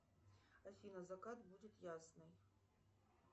афина закат будет ясный